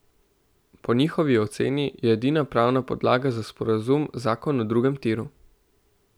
Po njihovi oceni je edina pravna podlaga za sporazum zakon o drugem tiru.